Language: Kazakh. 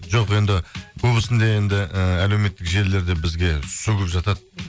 жоқ енді көбісінде енді ііі әлеуметтік желілерде бізге сөгіп жатады